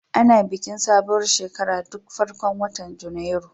Ana bikin sabuwar shekara duk farkon watan Janairu.